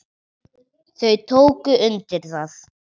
Þau tóku undir það.